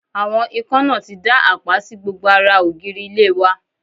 Àwọn ikán náà ti dá àpá sí gbogbo ara ògiri ilé wa